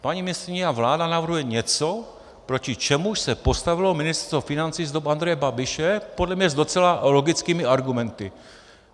Paní ministryně a vláda navrhuje něco, proti čemuž se postavilo Ministerstvo financí z dob Andreje Babiše podle mě s docela logickými argumenty.